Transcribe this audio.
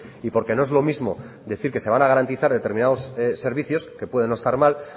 y porque no es lo mismo decir que se van a garantizar determinados servicios que pueden no estar mal